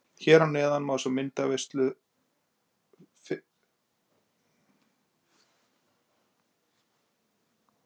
Hér að neðan er fyrri myndaveislan okkar úr leiknum, Jónína Guðbjörg Guðbjartsdóttir smellti af.